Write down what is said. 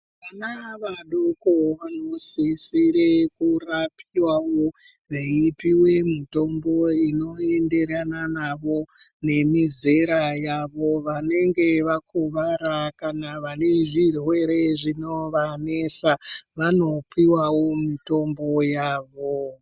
Vana vadoko vanosisire kurapiwawo veipiwe mitombo inoenderana navo nemizera yavo. Vanenge vakuvara kana vane zvirwere zvinovanesa vanopiwavo mitombo yavo.